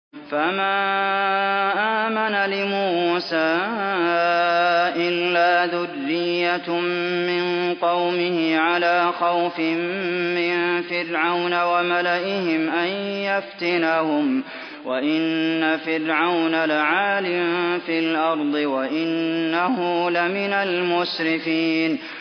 فَمَا آمَنَ لِمُوسَىٰ إِلَّا ذُرِّيَّةٌ مِّن قَوْمِهِ عَلَىٰ خَوْفٍ مِّن فِرْعَوْنَ وَمَلَئِهِمْ أَن يَفْتِنَهُمْ ۚ وَإِنَّ فِرْعَوْنَ لَعَالٍ فِي الْأَرْضِ وَإِنَّهُ لَمِنَ الْمُسْرِفِينَ